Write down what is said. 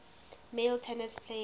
male tennis players